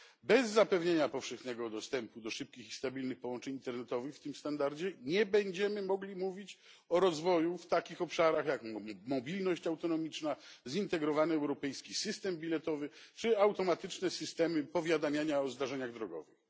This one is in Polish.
Bez zapewnienia powszechnego dostępu do szybkich i stabilnych połączeń internetowych w tym standardzie nie będziemy mogli mówić o rozwoju w takich obszarach jak mobilność autonomiczna, zintegrowany europejski system biletowy czy automatyczne systemy powiadamiania o zdarzeniach drogowych.